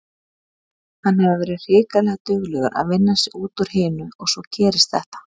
Hann hefur verið hrikalega duglegur að vinna sig út úr hinu og svo gerist þetta.